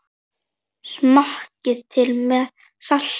Smakkað til með salti.